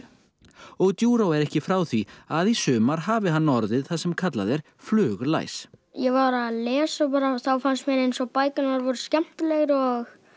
og Ðuro er ekki frá því að í sumar hafi hann orðið það sem kallað er fluglæs ég var að lesa og þá fannst mér eins og bækurnar væru skemmtilegri og